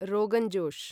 rogan josh